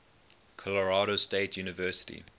colorado state university